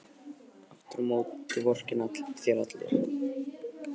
Aftur á móti vorkenna þér allir.